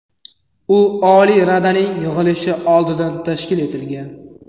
U Oliy Radaning yig‘ilishi oldidan tashkil etilgan.